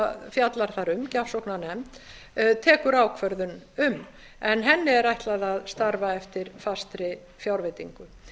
fjallar þar um gjafsóknarnefnd tekur ákvörðun um en henni er ætlað að starfa eftir fastri fjárveitingu